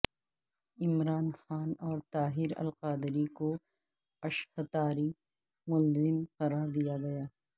عمران خان اور طاہر القادری کو اشہتاری ملزم قرار دیا گیا